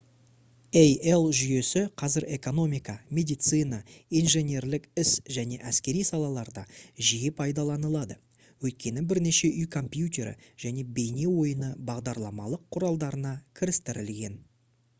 ai жүйесі қазір экономика медицина инженерлік іс және әскери салаларда жиі пайдаланылады өйткені бірнеше үй компьютері және бейне ойыны бағдарламалық құралдарына кірістірілген